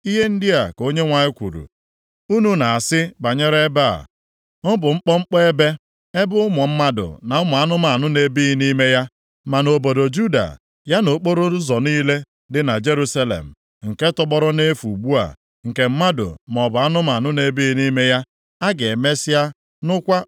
“Ihe ndị a ka Onyenwe anyị kwuru, ‘Unu na-asị banyere ebe a, “Ọ bụ mkpọmkpọ ebe, ebe ụmụ mmadụ na ụmụ anụmanụ na-ebighị nʼime ya.” Ma nʼobodo Juda, ya na okporoụzọ niile dị na Jerusalem, nke tọgbọrọ nʼefu ugbu a, nke mmadụ maọbụ anụmanụ na-ebighị nʼime ya, a ga-emesịa nụkwa